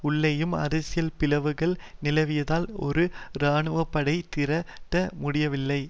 உள்ளேயும் அரசியல் பிளவுகள் நிலவியதால் ஒரு இராணுவ படையை திரட்ட முடியவில்லை